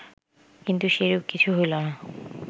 কিন্তু সেরূপ কিছু হইল না